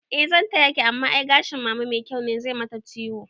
Eh zan tayaki amma ai gashin mama mai kyau ne, zai mata ciwo